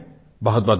बहुतबहुत धन्यवाद